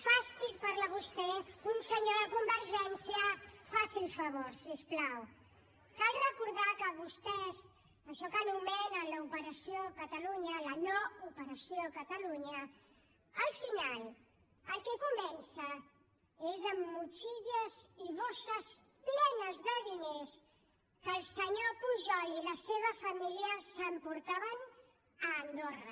fàstic parla vostè un senyor de convergència faci el favor si us plau cal recordar que vostès això que anomenen l’operació catalunya la no operació catalunya al final amb el que comença és amb motxilles i bosses plenes de diners que el senyor pujol i la seva família s’emportaven a andorra